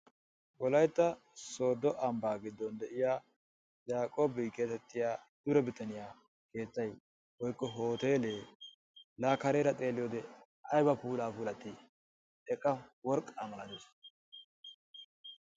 Wolaytta sooddo ambbaa giddon de'iya Yaaqqob getettiya dure bitaniya keettay woykko hootteelee la kareeraa xeeliyode ayba puulaa puulatide eqqa worqqaa malattees.